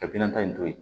Ka bina in to yen